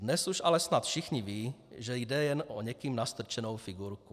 Dnes už ale snad všichni vědí, že jde jen o někým nastrčenou figurku.